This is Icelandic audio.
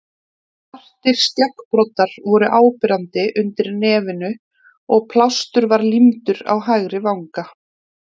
Svartir skeggbroddar voru áberandi undir nefinu og plástur var límdur á hægri vanga.